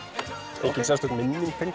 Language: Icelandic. engin sérstök minning tengd því